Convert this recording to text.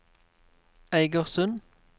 Eigersund